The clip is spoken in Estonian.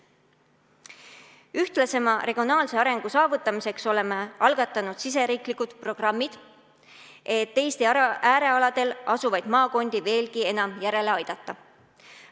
Ühtlasema regionaalse arengu saavutamiseks oleme algatanud riigisisesed programmid, et Eesti äärealadel asuvaid maakondi veelgi enam järele aidata.